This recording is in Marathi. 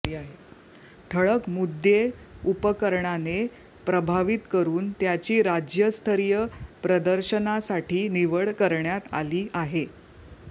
ठळक मुद्देउपकरणाने प्रभावीत करून त्याची राज्यस्तरीय प्रदर्शनासाठी निवड करण्यात आली आहे